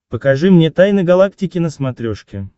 покажи мне тайны галактики на смотрешке